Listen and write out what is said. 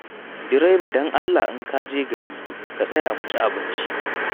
Direba don Allah in ka je gari ka tsaya mu ci abinci.